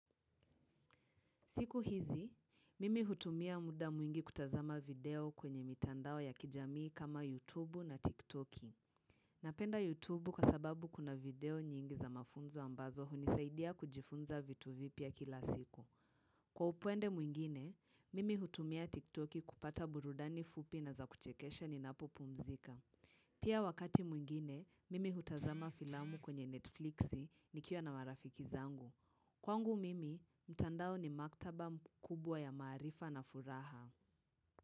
Siku hizi, mimi hutumia muda mwingi kutazama video kwenye mitandao ya kijamii kama YouTube na TikTok. Napenda YouTube kwa sababu kuna video nyingi za mafunzo ambazo hunisaidia kujifunza vitu vipya kila siku. Kwa upande mwingine, mimi hutumia TikTok kupata burudani fupi na za kuchekesha ninapopumzika. Pia wakati mwingine, mimi hutazama filamu kwenye Netflix nikiwa na marafiki zangu. Kwangu mimi, mtandao ni maktaba kubwa ya maarifa na furaha.